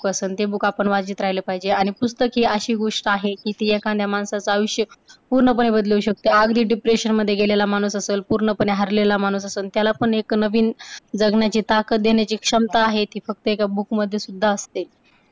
book आपण वाचत राहिले पाहिजे आणि पुस्तक हि अशी गोष्ट आहे की ती एखाद्या माणसाचं आयुष्य पूर्णपणे बदलवू शकते. अगदी depression मध्ये गेलेला माणूस असेल, पूर्णपणे हरलेला माणूस असण, त्यालापण एक नवीन जगण्याची ताकद देण्याची क्षमता आहे ती फक्त एका book मध्ये सुद्धा असते.